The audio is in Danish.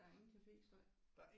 Der er ingen caféstøj